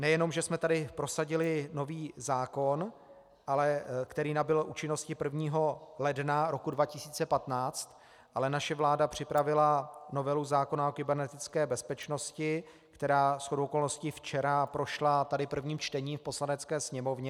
Nejenom že jsme tady prosadili nový zákon, který nabyl účinnosti 1. ledna roku 2015, ale naše vláda připravila novelu zákona o kybernetické bezpečnosti, která shodou okolností včera prošla tady prvním čtením v Poslanecké sněmovně.